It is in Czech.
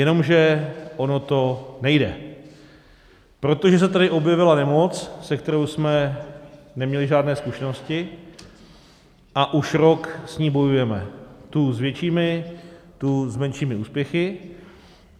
Jenomže ono to nejde, protože se tady objevila nemoc, se kterou jsme neměli žádné zkušenosti a už rok s ní bojujeme, tu s většími, tu s menšími úspěchy.